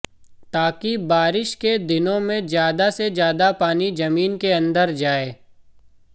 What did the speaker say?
ताकि बारिश के दिनों में ज्यादा से ज्यादा पानी जमीन के अंदर जाए